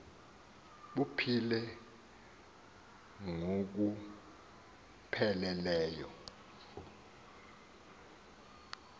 buphile ngokuphe leleyo